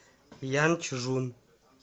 янчжун